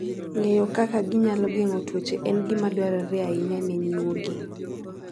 Ng'eyo kaka ginyalo geng'o tuoche en gima dwarore ahinya ne nyuogi.